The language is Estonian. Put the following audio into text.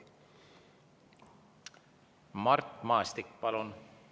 Mart Maastik, palun!